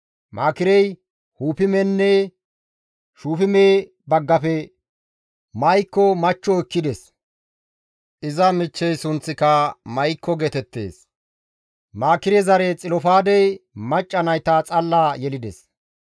Maakirey Huppimenne Shufime baggafe Ma7ikko machcho ekkides; iza michchey sunththika Ma7ikko geetettees; Maakire zare Xilofaadey macca nayta xalla yelides.